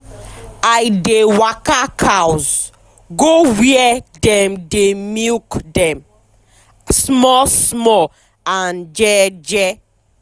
i dey waka cows go where dem dey milk dem small small and jeje